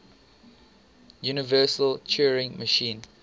universal turing machine